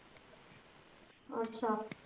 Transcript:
ਅੱਛਾ